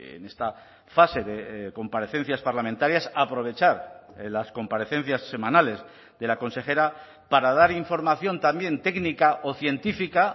en esta fase de comparecencias parlamentarias aprovechar las comparecencias semanales de la consejera para dar información también técnica o científica